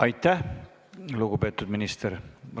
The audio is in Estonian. Aitäh, lugupeetud minister!